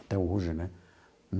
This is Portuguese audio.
Até hoje, né?